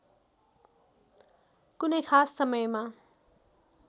कुनै खास समयमा